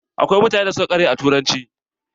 Akwai mutanen da suka ƙware a turanci.